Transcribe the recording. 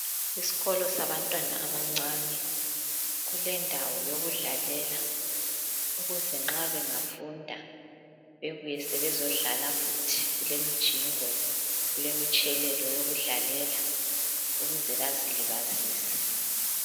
Isikolo sabantwana abancane. Kulendawo yokudlalela ukuze nxa bengafunda bebuye sebezodlala futhi. Kulemijingo, kulemitshelelo yokudlalela ukuze bazilibazise.